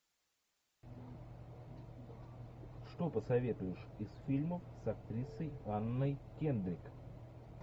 что посоветуешь из фильмов с актрисой анной кендрик